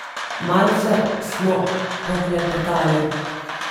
Malce smo poklepetale.